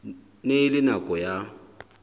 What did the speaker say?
ne e le nako ya